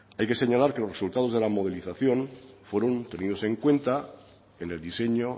hay que señalar que los resultados de la modelización fueron tenidos en cuenta en el diseño